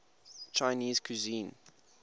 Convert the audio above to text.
chinese cuisine